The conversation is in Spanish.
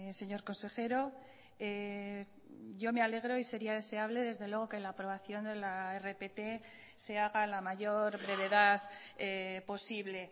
señor consejero yo me alegro y sería deseable desde luego que la aprobación de la rpt se haga a la mayor brevedad posible